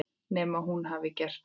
Nema hún hafi gert það.